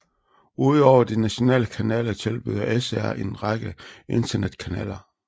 Udover de nationale kanaler tilbyder SR en række internetkanaler